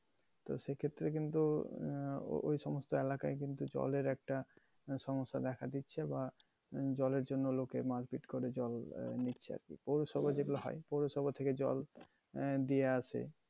তা সেক্ষেত্রে কিন্তু আহ ও~ ঐ সমস্ত এলাকায় কিন্তু জলের একটা আহ সমস্যা দেখা দিচ্ছে বা জলের জন্যে লোকে মারপিট করে জল আহ নিচ্ছে আর কি। জল আহ দিয়া আসে।